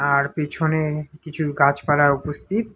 তার পিছনে কিছুর গাছপালা উপস্থিত।